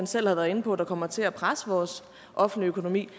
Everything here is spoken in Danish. selv har været inde på der kommer til at presse vores offentlige økonomi